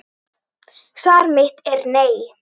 Svar mitt er nei.